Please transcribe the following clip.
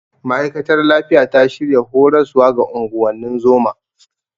Ma'aikatar lafiya ta shirya horaswa ga unguwannin zoma.